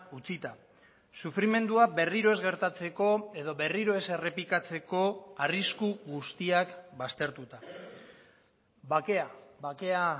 utzita sufrimendua berriro ez gertatzeko edo berriro ez errepikatzeko arrisku guztiak baztertuta bakea bakea